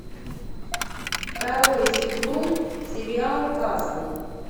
второй сезон сериал касл